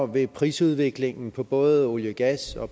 vil prisudviklingen på både olie gas og